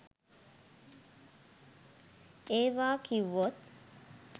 ඒවා කිව්වොත්